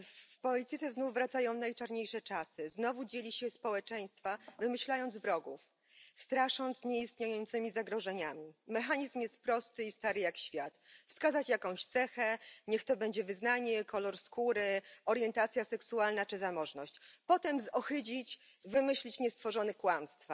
W polityce znowu wracają najczarniejsze czasy. Znowu dzieli się społeczeństwa, wymyślając wrogów, strasząc nieistniejącymi zagrożeniami. Mechanizm jest prosty i stary jak świat wskazać jakąś cechę niech to będzie wyznanie, kolor skóry, orientacja seksualna czy zamożność. Potem zohydzić, wymyślić niestworzone kłamstwa.